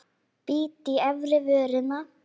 Bít í efri vörina.